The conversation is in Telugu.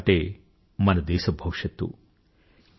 యువత అంటే మన దేశ భవిష్యత్తు